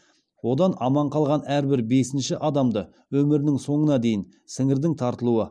одан аман қалған әрбір бесінші адамды өмірінің соңына дейін сіңірдің тартылуы